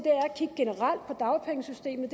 er dagpengesystemet